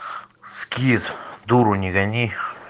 скит дуру не гони